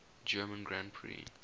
german grand prix